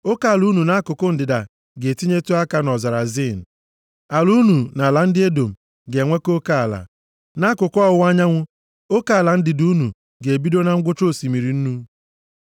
“ ‘Oke ala unu nʼakụkụ ndịda ga-etinyetụ aka nʼọzara Zin. Ala unu na ala ndị Edọm ga-enwekọ oke ala. Nʼakụkụ ọwụwa anyanwụ, oke ala ndịda unu ga-ebido na ngwụcha Osimiri Nnu,